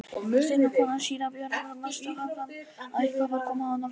Steinunn kona síra Björns á Melstað fann að hik var komið á Norðlendinga.